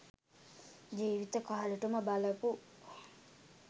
ජීවිත කාලෙටම බලපු